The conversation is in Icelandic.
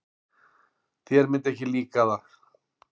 Þér myndi ekki líka það.